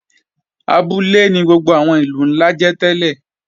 Abúlé ni gbogbo àwọn ìlú ńlá jẹ́ tẹ́lẹ̀